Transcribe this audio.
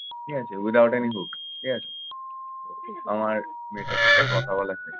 ঠিক আছে without any hope ঠিক আছে। আমার মেয়েটার সাথে কথা বলাই দে।